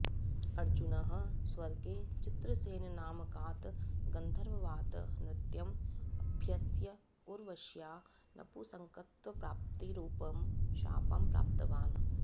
अर्जुनः स्वर्गे चित्रसेननामकात् गन्धर्वात् नृत्यम् अभ्यस्य उर्वश्या नपुंसकत्वप्राप्तिरूपं शापं प्राप्तवान्